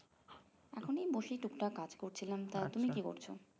এখনই বসে টুকটাক কাজ করছিলাম তা তুমি কি করছো